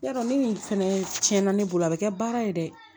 Yarɔ ni nin fɛnɛ cɛnna ne bolo a bɛ kɛ baara ye dɛ